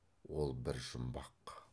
ол бір жұмбақ